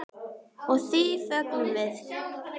Og því fögnum við.